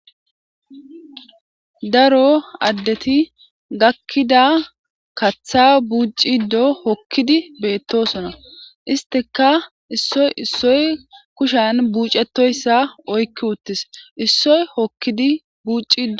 Daro adeti gakida katha bucci do hokidi betosona isstika issoy issoy kushan buchetoysa oyki uttis issoy hokidi bucida